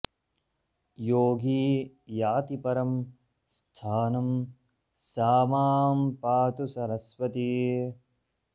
योगी याति परं स्थानं सा मां पातु सरस्वती